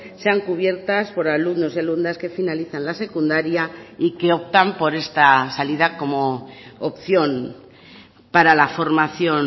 sean cubiertas por alumnos y alumnas que finalizan la secundaria y que optan por esta salida como opción para la formación